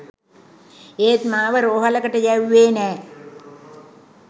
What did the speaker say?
ඒත් මාව රෝහලකට යැව්වේ නෑ.